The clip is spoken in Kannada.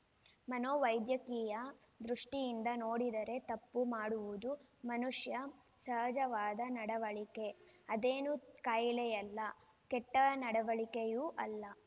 ಮನೋವೈದ್ಯಕೀಯ ದೃಷ್ಟಿಯಿಂದ ನೋಡಿದರೆ ತಪ್ಪು ಮಾಡುವುದು ಮನುಷ್ಯ ಸಹಜವಾದ ನಡವಳಿಕೆ ಅದೇನೂ ಕಾಯಿಲೆಯಲ್ಲ ಕೆಟ್ಟನಡವಳಿಕೆಯೂ ಅಲ್ಲ